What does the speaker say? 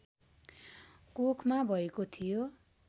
कोखमा भएको थियो